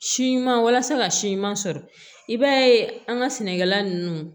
Si ɲuman walasa ka si ɲuman sɔrɔ i b'a ye an ka sɛnɛkɛla ninnu